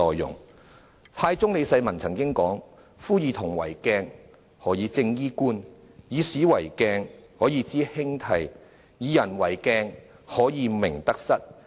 唐太宗李世民曾經說："夫以銅為鏡，可以正衣冠；以古為鏡，可以知興替；以人為鏡，可以明得失。